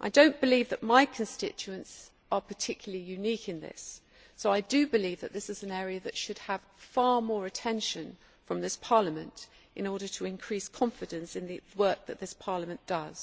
I do not believe that my constituents are particularly unique in this, so I do believe that this is an area that should have far more attention from this Parliament in order to increase confidence in the work that this Parliament does.